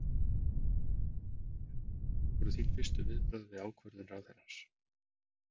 Bjarni, hver voru þín fyrstu viðbrögð við ákvörðun ráðherrans?